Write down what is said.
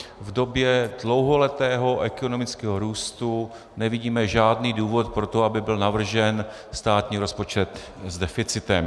V době dlouholetého ekonomického růstu nevidíme žádný důvod pro to, aby byl navržen státní rozpočet s deficitem.